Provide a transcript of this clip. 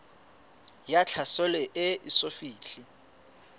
ya tlhaselo e eso fihle